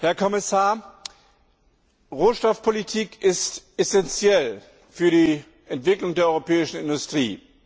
Herr Kommissar, Rohstoffpolitik ist essenziell für die Entwicklung der europäischen Industrie.